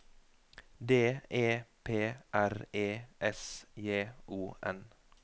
D E P R E S J O N